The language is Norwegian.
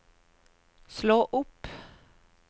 slå opp